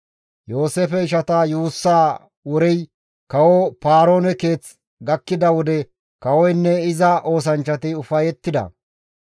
Yooseefe ishata yuussa worey kawo Paaroone keeth gakkida wode kawoynne iza oosanchchati ufayettida.